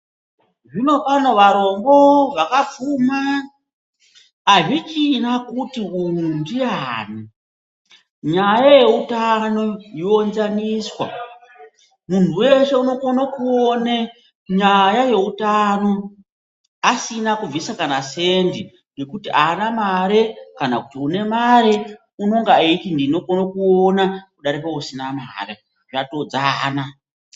Zvinopano varombo vakapfuma azvichina kuti uyu ndiyani nyaya yeutano yoonzaniswa muntu weshe unokone kuone nyaya yeutano asina kubvisa kana sendi nokuti aana mare kana kuti une mare unonga eiiti ndinokona kuona kudarika usina mari zvatodzana.